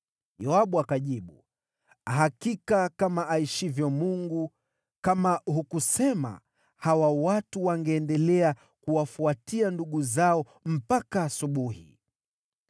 Yoabu akajibu, “Hakika kama aishivyo Mungu, kama hukusema, hawa watu wangeendelea kuwafuatia ndugu zao mpaka asubuhi.”